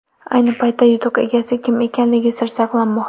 Ayni paytda yutuq egasi kim ekanligi sir saqlanmoqda.